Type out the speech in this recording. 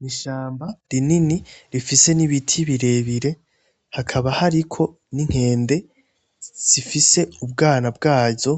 Ni ishamba rinini rifise n'ibiti birebire hakaba hariko n'inkende zifise ubwana bwazo